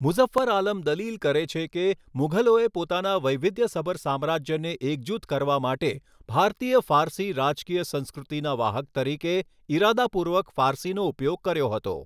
મુઝફ્ફર આલમ દલીલ કરે છે કે, મુઘલોએ પોતાના વૈવિધ્યસભર સામ્રાજ્યને એકજૂથ કરવા માટે ભારતીય ફારસી રાજકીય સંસ્કૃતિના વાહક તરીકે ઇરાદાપૂર્વક ફારસીનો ઉપયોગ કર્યો હતો.